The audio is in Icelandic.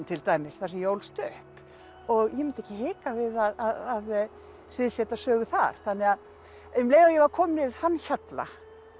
til dæmis þar sem ég ólst upp og ég mundi ekki hika við að sögu þar þannig að um leið og ég var komin yfir þann hjalla